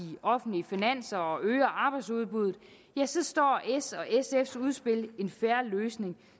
offentlige finanser og øger arbejdsudbuddet står s og sfs udspil en fair løsning